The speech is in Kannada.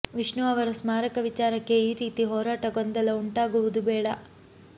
ವಿಷ್ಣು ಅವರ ಸ್ಮಾರಕ ವಿಚಾರಕ್ಕೆ ಈ ರೀತಿ ಹೋರಾಟ ಗೊಂದಲ ಉಂಟಾಗುವುದು ಬೇಡ